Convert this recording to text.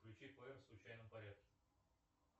включи плеер в случайном порядке